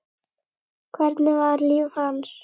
Hvernig var líf hans?